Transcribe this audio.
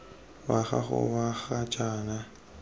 wa gago wa ga jaana